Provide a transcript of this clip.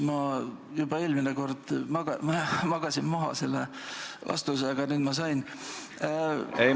Ma eelmine kord magasin vasturepliigi võimaluse maha, aga nüüd ma selle sain.